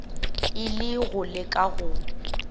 e le go leka go